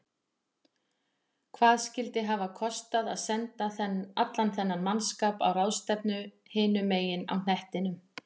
Hvað skyldi hafa kostað að senda allan þennan mannskap á ráðstefnu hinum megin á hnettinum?